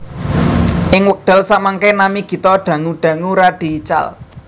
Ing wekdal samangke nami Gito dangu dangu radi ical